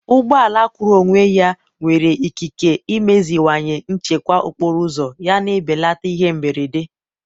ụgbọ ala kwụụrụ onwe ya nwere ikike imeziwanye nchekwa okporo ụzọ yana ibelata ihe mberede.